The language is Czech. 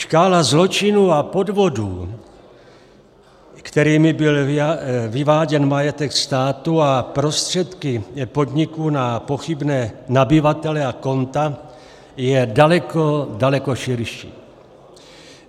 Škála zločinů a podvodů, kterými byl vyváděn majetek státu a prostředky podniků na pochybné nabyvatele a konta, je daleko, daleko, širší.